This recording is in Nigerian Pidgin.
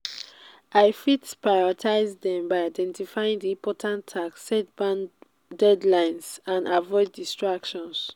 i fit prioritize dem by identifying di important tasks set deadlines and avoid distractions.